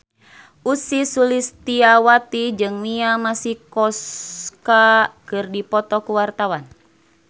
Ussy Sulistyawati jeung Mia Masikowska keur dipoto ku wartawan